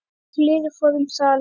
kliður fór um salinn.